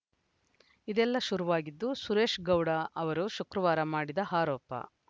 ಇದೆಲ್ಲ ಶುರುವಾಗಿದ್ದು ಸುರೇಶ್‌ಗೌಡ ಅವರು ಶುಕ್ರವಾರ ಮಾಡಿದ ಆರೋಪ